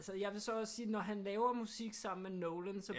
Altså jeg vil så også sige når han laver musik sammen med Nolan så